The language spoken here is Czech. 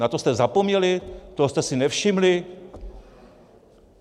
Na to jste zapomněli, toho jste si nevšimli?